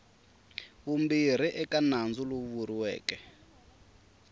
vumbirhi eka nandzu lowu vuriweke